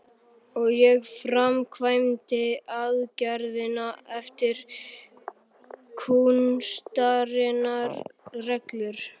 Og ég framkvæmdi aðgerðina eftir kúnstarinnar reglum.